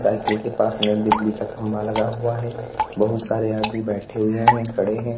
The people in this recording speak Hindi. साइकिल के पास में एक बिजली का खंभा लगा हुआ है बहुत सारे आदमी बैठे हुए हैं खड़े हैं।